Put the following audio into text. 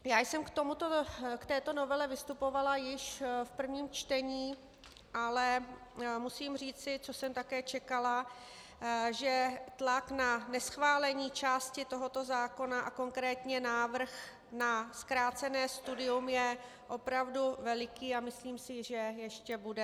Já jsem k této novele vystupovala již v prvním čtení, ale musím říci, což jsem také čekala, že tlak na neschválení části tohoto zákona, a konkrétně návrh na zkrácené studium, je opravdu veliký a myslím si, že ještě bude.